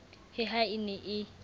he ha e ne e